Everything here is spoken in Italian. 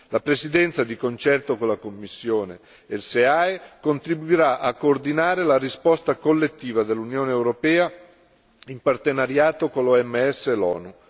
La Presidenza, di concerto con la Commissione e il SEAE, contribuirà a coordinare la risposta collettiva dell'Unione europea in partenariato con l'OMS e l'ONU.